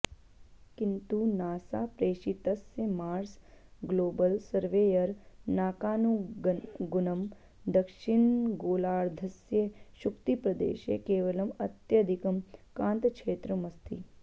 किन्तु नासा प्रेषितस्य Mars Global Surveyor नाकानुगुणं दक्षिणगोलार्धस्य शुक्तिप्रदेशे केवलम् अत्यधिकं कान्तक्षेत्रमस्ति